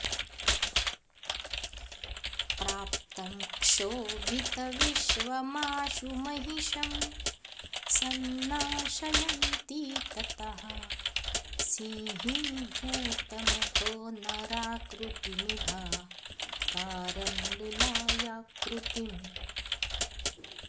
प्राप्तं क्षोभितविश्वमाशु महिषं संनाशयन्ती ततः सिंहीभूतमथो नराकृतिमिभाकारं लुलायाकृतिम्